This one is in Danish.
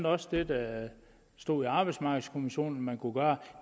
også det der står i arbejdsmarkedskommissionens man kunne gøre